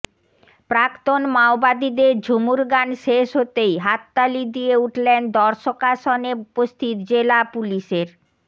প্রাক্তন মাওবাদীদের ঝুমুর গান শেষ হতেই হাততালি দিয়ে উঠলেন দর্শকাসনে উপস্থিত জেলা পুলিশের